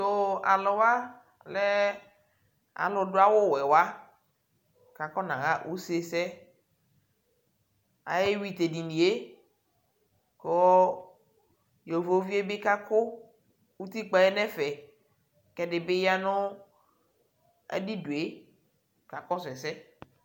tʋ.alʋwa mɛ dʋ awʋ wɛ wa kʋ akɔna wa ʋsɛ sɛ ayɛwi tʋ ɛdiniɛ kʋ ayɔvɔviɛ bi kakʋ ʋtikpaɛ nʋ ɛƒɛ kʋ ɛdibi yanʋ adidʋɛ kakɔsʋ ɛsɛ.